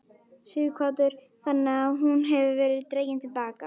Sighvatur: Þannig að hún hefur verið dregin til baka?